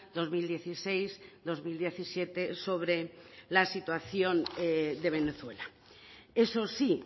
dos mil dieciséis dos mil diecisiete sobre la situación de venezuela eso sí